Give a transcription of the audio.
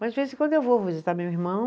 Mas de vez em quando eu vou visitar meu irmão.